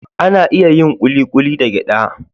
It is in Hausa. Ana iya yin kulikuli da gyada